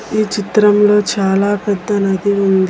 ఈ చిత్రంలో చాలా పెద్ద నది ఉంది.